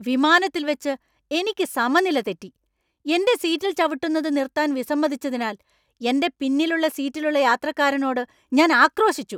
വിമാനത്തിൽവെച്ച് എനിക്ക് സമനില തെറ്റി , എന്‍റെ സീറ്റിൽ ചവിട്ടുന്നത് നിർത്താൻ വിസമ്മതിച്ചതിനാൽ എന്‍റെ പിന്നിലുള്ള സീറ്റിലുള്ള യാത്രക്കാരനോട് ഞാൻ ആക്രോശിച്ചു .